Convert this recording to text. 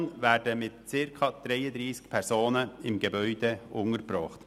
Landwirtschaft und Natur (GELAN) werden mit circa 33 Personen im Gebäude untergebracht.